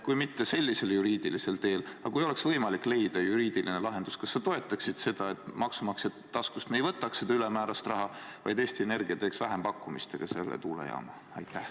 Kui oleks võimalik leida juriidiline lahendus, kas sa toetaksid seda, et me ei võtaks maksumaksja taskust seda ülemäärast raha, vaid Eesti Energia teeks vähempakkumiste abil selle tuulejaama?